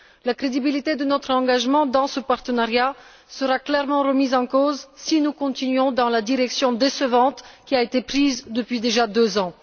La crédibilité de notre engagement dans ce partenariat sera clairement remise en cause si nous continuons dans la direction décevante qui a été prise depuis déjà deux ans.